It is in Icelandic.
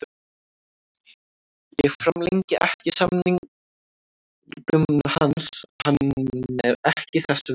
Ég framlengi ekki samningnum hans, hann er ekki þess virði.